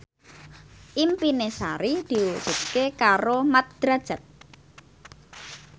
impine Sari diwujudke karo Mat Drajat